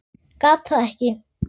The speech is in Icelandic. Gat það ekki.